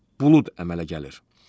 Buludlar əmələ gəlir.